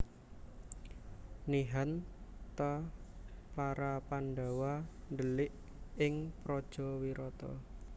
Nihan ta para Pandhawa ndhelik ing praja Wirata